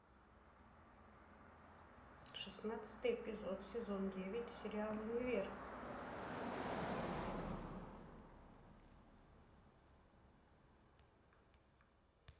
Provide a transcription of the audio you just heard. шестнадцатый эпизод сезон девять сериал универ